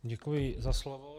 Děkuji za slovo.